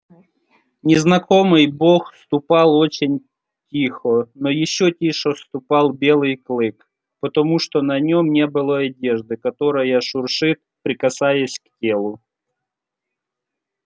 незнакомый бог ступал очень тихо но ещё тише ступал белый клык потому что на нём не было одежды которая шуршит прикасаясь к телу